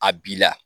A b'i la